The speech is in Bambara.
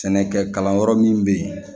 Sɛnɛkɛ kalanyɔrɔ min bɛ ye